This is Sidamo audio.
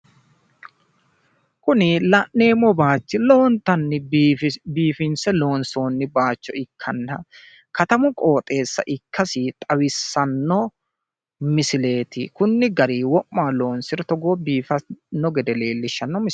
kuni la'neemmo bayiichi lowontanni biifinse loonsoonni bayiicho, ikkanna katamu qooxeessa ikkasi leellishshanno misileeti.